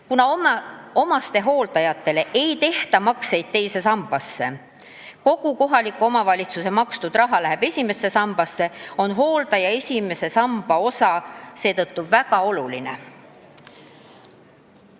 Kuna omastehooldajal ei tehta makseid teise sambasse, kogu kohaliku omavalitsuse makstud raha läheb esimesse sambasse, on hooldaja esimese samba osa seetõttu väga oluline.